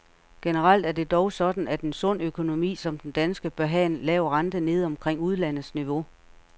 Generelt er det dog sådan, at en sund økonomi som den danske, bør have en lav rente nede omkring udlandets niveau.